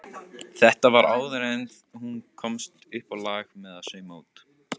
Þetta var áður en hún komst uppá lag með að sauma út.